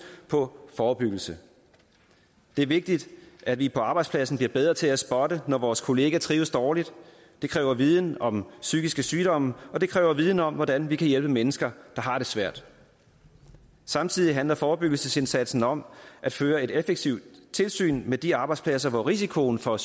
på forebyggelse det er vigtigt at vi på arbejdspladsen bliver bedre til at spotte når vores kollega trives dårligt det kræver viden om psykiske sygdomme og det kræver viden om hvordan vi kan hjælpe mennesker der har det svært samtidig handler forebyggelsesindsatsen om at føre et effektivt tilsyn med de arbejdspladser hvor risikoen for